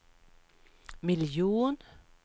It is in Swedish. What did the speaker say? miljon